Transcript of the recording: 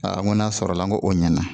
Aa n ko n'a sɔrɔla n ko o ɲɛna